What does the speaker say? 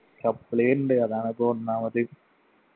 suppli ഇണ്ട് അതാണിപ്പോ ഒന്നാമത്